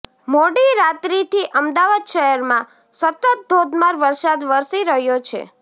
મોડી રાત્રીથી અમદાવાદ શહેરમાં સતત ધોધમાર વરસાદ વરસી રહ્યો છે